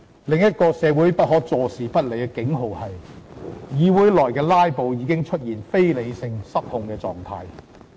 另一個社會不可坐視不理的警號是：議會內的"拉布"已出現非理性和失控的狀態。